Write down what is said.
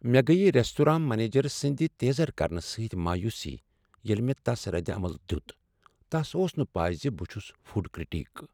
مےٚ گٔیہ restaurant manager سٕنٛد تیزر کرنہٕ سۭتۍ مایوسی ییٚلہ مےٚ تس ردعمل دیت۔ تس اوس نہٕ پے ز بہٕ چھس فوڈ کریٹیک ۔